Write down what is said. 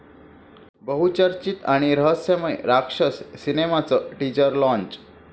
बहुचर्चित आणि रहस्यमय राक्षस सिनेमाचं टीजर लाँच!